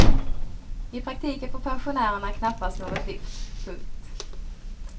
I praktiken får pensionärerna knappast något lyft. punkt